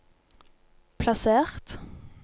plassert